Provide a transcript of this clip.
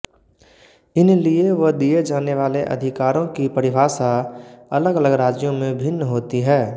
इन लिये व दिये जाने वाले अधिकारों की परिभाषा अलगअलग राज्यों में भिन्न होती है